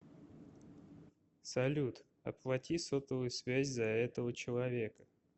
салют оплати сотовую связь за этого человека